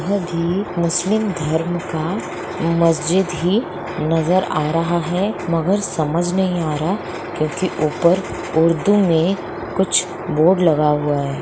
एक मुस्लिम धर्म का मस्जिद ही नज़र आ रहा है मगर समझ नहीं आ रहा क्योंकि ऊपर उर्दू में कुछ बोर्ड लगा हुआ है।